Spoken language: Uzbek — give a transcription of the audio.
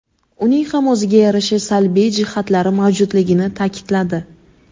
uning ham o‘ziga yarasha salbiy jihatlari mavjudligini ta’kidladi.